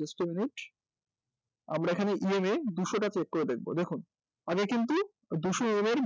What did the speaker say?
Just a minute আমরা এখানে EM এ দুশোটা check করে দেখব দেখুন আগে কিন্তু দুশো EM এর